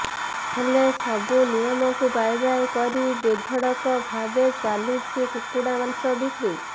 ହେଲେ ସବୁ ନିୟମକୁ ବାଏ ବାଏ କରି ବେଧଡକ ଭାବେ ଚାଲିଛି କୁକୁଡା ମାଂସ ବିକ୍ରି